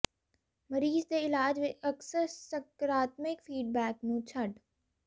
ੰਧ ਮਰੀਜ਼ ਦੇ ਇਲਾਜ ਵਿਚ ਅਕਸਰ ਸਕਰਾਤਮਿਕ ਫੀਡਬੈਕ ਨੂੰ ਛੱਡ